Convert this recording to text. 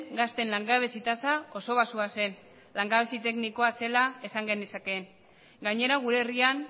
gazteen langabezi tasa oso baxua zen langabezi teknikoa zela esan genezake gainera gure herrian